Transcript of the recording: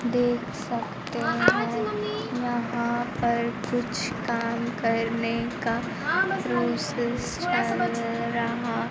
देख सकते हैं यहां पर कुछ काम करने का प्रोसेस चल रहा--